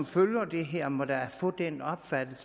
følger det her må da få den opfattelse